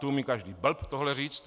To umí každý blb tohle říct.